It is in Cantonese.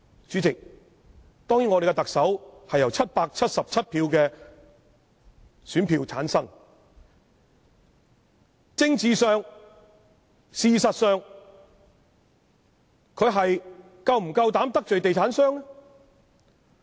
主席，當然，我們的特首是由777票的選票產生，在政治上、事實上，她是否夠膽得罪地產商？